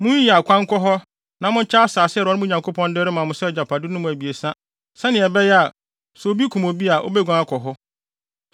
Munyiyi akwan nkɔ hɔ na monkyɛ asase a Awurade, mo Nyankopɔn, de rema mo sɛ agyapade no mu abiɛsa sɛnea ɛbɛyɛ a, sɛ obi kum obi a, obeguan akɔ hɔ.